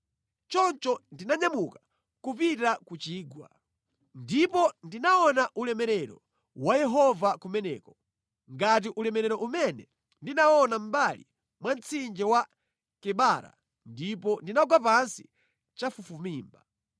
Choncho ndinanyamuka kupita ku chigwa. Ndipo ndinaona ulemerero wa Yehova kumeneko, ngati ulemerero umene ndinaona mʼmbali mwa mtsinje wa Kebara ndipo ndinagwa pansi chafufumimba.